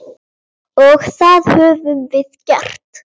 Og það höfum við gert.